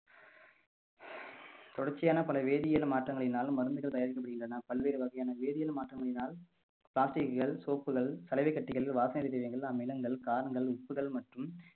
தொடர்ச்சியான பல வேதியியல் மாற்றங்களினாலும் மருந்துகள் தயாரிக்கப்படுகின்றன பல்வேறு வகையான வேதியியல் மாற்றங்களினால் plastic கள் soap கள் கலவை கட்டிகள் வாசனை திரவியங்கள் அமிலங்கள் காரங்கள் உப்புகள் மற்றும்